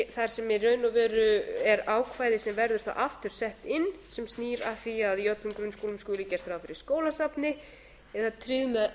og veru er ákvæði sem verður aftur sett inn sem snýr að því að í öllum grunnskólum sé gert ráð fyrir skólasafni eða tryggt með